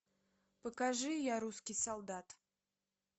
покажи я русский солдат